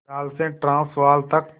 Natal से Transvaal तक